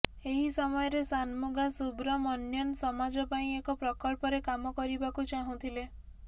ଏହି ସମୟରେ ଶାନମୁଗା ସୁବ୍ରମଣ୍ୟନ୍ ସମାଜ ପାଇଁ ଏକ ପ୍ରକଳ୍ପରେ କାମ କରିବାକୁ ଚାହୁଁଥିଲେ